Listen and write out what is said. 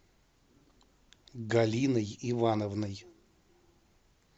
галиной ивановной